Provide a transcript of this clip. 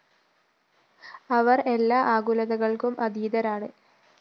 അവര്‍ എല്ലാ ആകുലതകള്‍ക്കും അതീതരാണ്